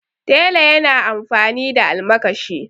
tela yana amfani da almakashi